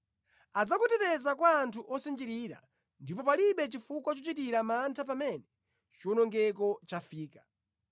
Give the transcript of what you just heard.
Adzakuteteza kwa anthu osinjirira, ndipo palibe chifukwa chochitira mantha pamene chiwonongeko chafika.